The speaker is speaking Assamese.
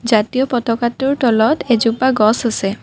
জাতীয় পতাকাটোৰ তলত এজোপা গছ আছে।